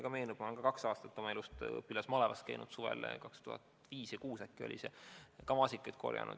Ma ise olen kahel aastal oma elust õpilasmalevas käinud – see oli vist suvel 2005 ja 2006 – ja maasikaid korjanud.